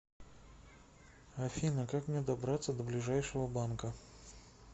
афина как мне добраться до ближайшего банка